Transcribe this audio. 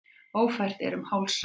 Ófært er um Hálsa